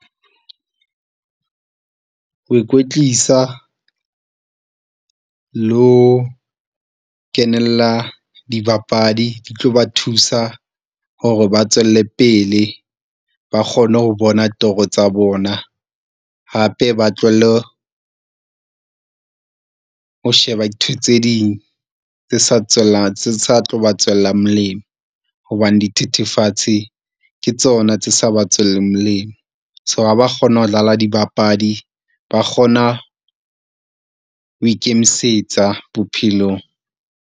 Ho ikwetlisa le ho kenella dibapadi di tlo ba thusa hore ba tswelle pele ba kgone ho bona toro tsa bona, hape ba tlohelle ho sheba dintho tse ding tse sa , tse sa tlo ba tswella molemo, hobane dithethefatsi ke tsona tse sa ba tswelleng molemo. So ha ba kgona ho dlala dibapadi, ba kgona ho ikemisetsa bophelong.